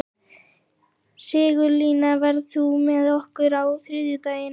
Sigurlína, ferð þú með okkur á þriðjudaginn?